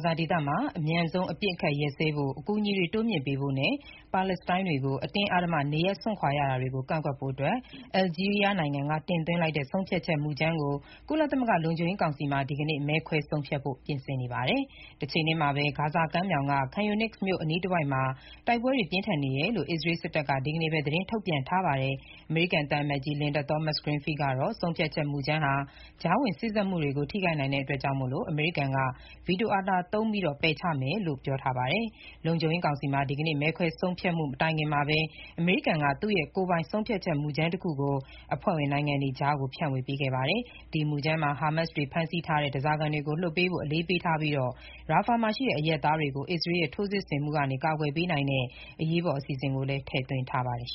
ဇာဒေသမှာ အမြန်ဆုံးအပစ်အခတ် ရပ်စဲဖို့၊ အကူအညီတွေ တိုးမြှင့်ပေးဖို့နဲ့ ပါလက်စတိုင်းတွေ အတင်းအဓမ္မနေရပ်စွန့်ခွာနေရတာတွေကို ကန့်ကွက်ဖို့ အယ်လ်ဂျီးရီးယားနိုင်ငံက တင်သွင်းတဲ့ ဆုံးဖြတ်ချက်မှုကြမ်းကို ကုလသမဂ္ဂ လုံခြုံရေးကောင်စီမှာ ဒီကနေ့ မဲခွဲဆုံးဖြတ်ဖို့ ပြင်ဆင်နေပါတယ်။ တချိန်တည်းမှာပဲ ဂါဇာကမ်းမြှောင်က Khan Younis မြို့ အနီးတဝိုက်မှာ တိုက်ပွဲတွေ ပြင်းထန်နေတယ်လို့ အစ္စရေးစစ်တပ်က ဒီနေ့ပဲ သတင်းထုတ်ပြန်ပါတယ်။ အမေရိကန် သံအမတ်ကြီး Linda Thomas-Greenfield ကတော့ ဆုံးဖြတ်ချက်မူကြမ်းဟာ ကြားဝင်စေ့စပ်မှုတွေကို ထိခိုက်နိုင်တာကြောင့် အမေရိကန်က ဗီတိုအာဏာသုံး ပယ်ချမယ်လို့ ပြောထားပါတယ်။ လုံခြုံရေးကောင်စီမှာ ဒီကနေ့ မဲခွဲမဆုံးဖြတ်ခင်မှာပဲ အမေရိကန်က သူ့ရဲ့ ကိုယ်ပိုင် ဆုံးဖြတ်ချက်မူကြမ်းတခုကို အဖွဲ့ဝင်နိုင်ငံတွေကြား ဖြန့်ဝေခဲ့တာပါ။ ဒီမူကြမ်းမှာ ဟာမတ်စ်တွေ ဖမ်းဆီးထားတဲ့ ဓားစာခံတွေကို လွှတ်ပေးဖို့ အလေးပေးထားပြီး၊ Rafah မှာရှိတဲ့ အရပ်သားတွေကို အစ္စရေးရဲ့ ထိုးစစ်ဆင်မှုမှ ကာကွယ်ပေနိုင်တဲ့ အရေးပေါ်အစီအစဉ်လည်း ထည့်သွင်းထားပါတယ်